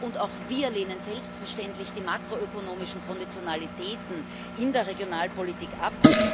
Und auch wir lehnen selbstverständlich die makroökonomischen Konditionalitäten in der Regionalpolitik ab.